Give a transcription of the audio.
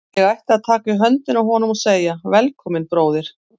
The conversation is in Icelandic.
Ég ætti að taka í höndina á honum og segja: Velkominn, bróðir.